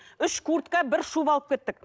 үш куртка бір шуба алып кеттік